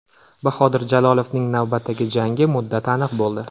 Bahodir Jalolovning navbatdagi jangi muddati aniq bo‘ldi.